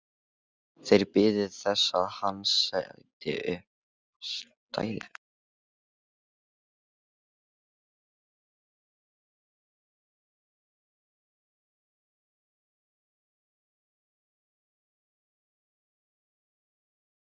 Gabríel, hvaða dagur er í dag?